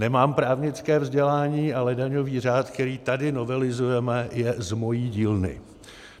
Nemám právnické vzdělání, ale daňový řád, který tady novelizujeme, je z mé dílny.